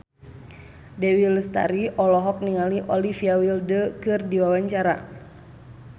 Dewi Lestari olohok ningali Olivia Wilde keur diwawancara